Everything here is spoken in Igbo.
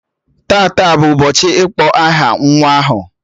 Tata bụ ụbọchị ịkpọ aha nwa ahụ